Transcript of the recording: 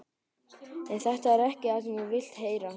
En þetta er ekki það sem þú vilt heyra.